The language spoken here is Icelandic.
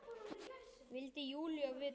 vildi Júlía vita.